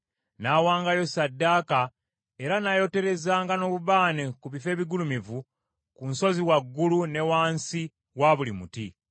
N’awangayo ssaddaaka, era n’ayoterezanga n’obubaane ku bifo ebigulumivu, ku nsozi waggulu, ne wansi wa buli muti.